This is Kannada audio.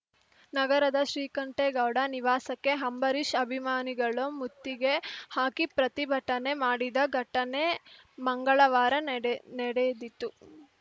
ನಗರದ ಶ್ರೀಕಂಠೇಗೌಡ ನಿವಾಸಕ್ಕೆ ಹಂಬರೀಷ್‌ ಅಭಿಮಾನಿಗಳು ಮುತ್ತಿಗೆ ಹಾಕಿ ಪ್ರತಿಭಟನೆ ಮಾಡಿದ ಘಟನೆ ಮಂಗಳವಾರ ನಡೆ ನಡೆದಿತು